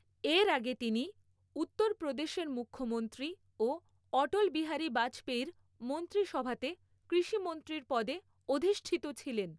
এর আগে তিনি উত্তর প্ৰদেশের মুখ্যমন্ত্ৰী ও অটল বিহারী বাজপেয়ীর মন্ত্ৰীসভাতে কৃষিমন্ত্ৰীর পদে অধিষ্ঠিত ছিলেন।